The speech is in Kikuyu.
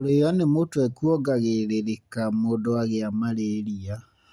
Kũrĩo nĩ mũtwe kuongagĩrĩrĩka mũndũ agĩa malaria.